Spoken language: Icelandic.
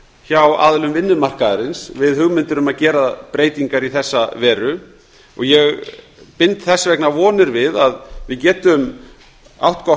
hjá aðilum vinnumarkaðarins við hugmyndir um að gera breytingar í þessa veru og ég bind þess vegna vonir við að við getum átt gott